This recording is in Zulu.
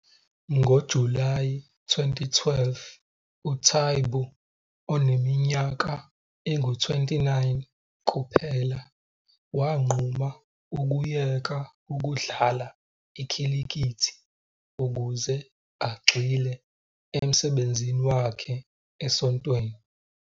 NgoJulayi 2012 uTaibu, oneminyaka engu-29 kuphela, wanquma ukuyeka ukudlala ikhilikithi ukuze agxile emsebenzini wakhe esontweni.